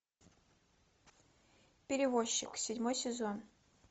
перевозчик седьмой сезон